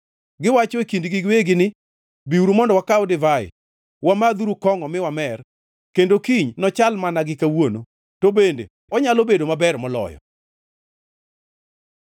Giwacho e kindgi giwegi ni, “Biuru mondo wakaw divai! Wamadhuru kongʼo mi wamer! Kendo kiny nochal mana gi kawuono, to bende onyalo bedo maber moloyo.”